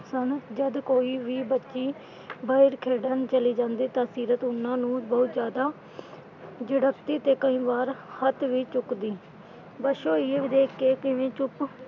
ਸਨ ਜਦ ਕੋਈ ਵੀ ਬੱਚੀ bat ਖੇਡਣ ਚਲੀ ਜਾਂਦੀ ਤਾਂ ਸੀਰਤ ਉਨ੍ਹਾਂ ਨੂੰ ਬਹੁਤ ਜਿਆਦਾ ਝਿੜਕਦੀ ਤੇ ਕਈ ਵਾਰ ਹੱਥ ਵੀ ਚੁੱਕਦੀ। ਬਸੋ ਇਹ ਵੇਖ ਕੇ ਕਿਵੇਂ ਚੁੱਪ ਸਨ।